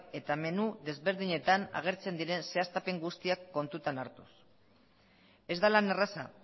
eta menu ezberdinetan agertzen diren zehaztapen guztiak kontutan hartuz ez da lan erraza